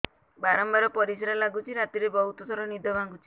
ବାରମ୍ବାର ପରିଶ୍ରା ଲାଗୁଚି ରାତିରେ ବହୁତ ଥର ନିଦ ଭାଙ୍ଗୁଛି